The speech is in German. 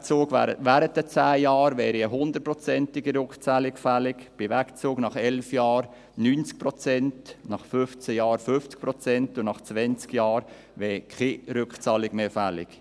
Bei einem Wegzug während den 10 Jahren wäre eine 100-prozentige Rückzahlung fällig, bei einem Wegzug nach 11 Jahren 90 Prozent, nach 15 Jahren 50 Prozent, und nach 20 Jahren wäre keine Rückzahlung mehr fällig.